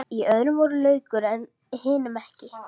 Í öðrum var laukur en hinum ekki.